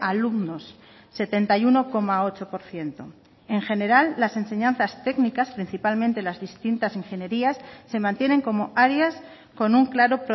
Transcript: alumnos setenta y uno coma ocho por ciento en general las enseñanzas técnicas principalmente las distintas ingenierías se mantienen como áreas con un claro